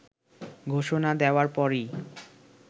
ঘোষণা দেয়ার পরই